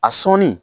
A sɔnni